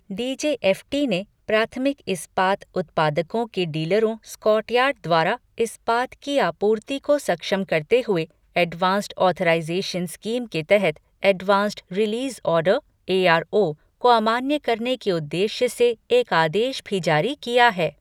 DGFT ने प्राथमिक इस्पात उत्पादकों के डीलरों स्टॉकयार्ड द्वारा इस्पात की आपूर्ति को सक्षम करते हुए एडवांस्ड ऑथराइजेशन स्कीम के तहत एडवांस्ड रिलीज़ ऑर्डर एआरओ को अमान्य करने के उद्देश्य से एक आदेश भी जारी किया है।